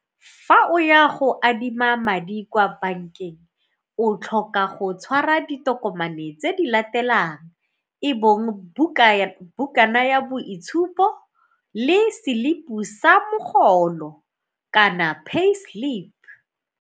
Fa o ya go adima madi kwa bankeng o tlhoka go tshwara ditokomane tse di latelang e bong bukana ya boitshupo le selipi sa mogolo kana pay slip.